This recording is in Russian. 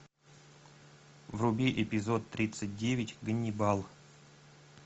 вруби эпизод тридцать девять ганнибал